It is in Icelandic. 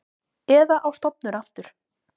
Eða á stofnun aftur.